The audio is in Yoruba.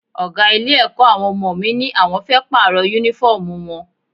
Ọ̀gá ilé-ẹ̀kọ́ àwọn ọmọ mi ní àwọn fẹ́ Pààrọ̀ Únífọ́ọ̀mù wọn